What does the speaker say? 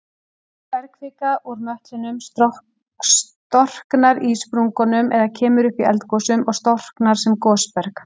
Bergkvika úr möttlinum storknar í sprungunum eða kemur upp í eldgosum og storknar sem gosberg.